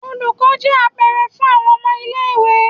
Olukọni jẹ apẹrẹ fun awọn ọmọ ile-iwe.